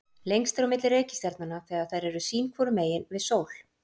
Lengst er á milli reikistjarnanna þegar þær eru sín hvoru megin við sól.